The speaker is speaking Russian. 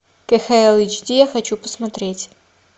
кхл эйч ди я хочу посмотреть